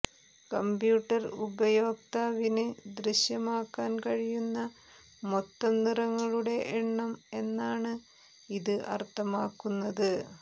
computer ഉപയോക്താവിന് ദൃശ്യമാക്കാൻ കഴിയുന്ന മൊത്തം നിറങ്ങളുടെ എണ്ണം എന്നാണ് ഇത് അർത്ഥമാക്കുന്നത്